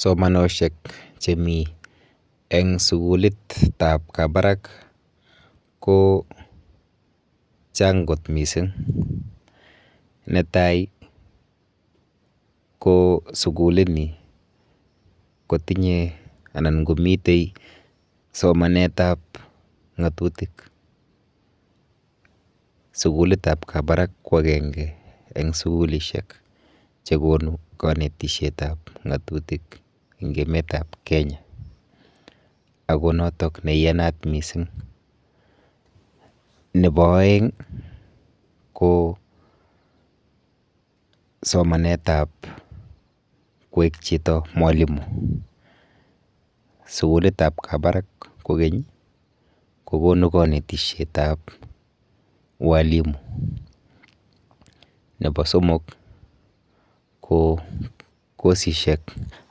Somanoshek chemi eng sukulitap Kabarak kochang kot mising. Netai ko sukulini kotinye anan komite somanetap ng'atutik. sukulitap kabarak ko akenge eng sukulishek chekonu kanetishetap ng'atutik eng emetap Kenya ako notok neiyanat mising. Nepo oeng ko somanetap kwek chito mwalimo. Sukulitap Kabarak kokeny kokonu kanetishetap ualimu. Nepo somok ko kosishek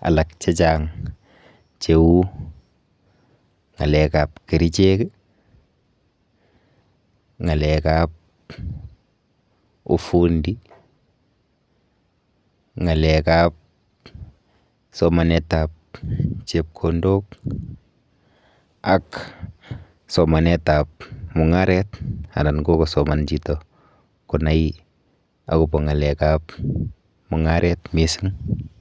alak chechang cheu ng'alekap kerichek, ng'alekap ufundi, ng'alekap somanetap chepkondok ak somanetap mung'aret anan ko kosoman chito konai akopo ng'alekap mung'aret mising.